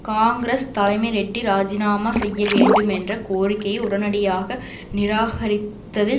காங்கிரஸ் தலைமை ரெட்டி இராஜிநாமா செய்ய வேண்டும் என்ற கோரிக்கையை உடனடியாக நிராகரித்ததில்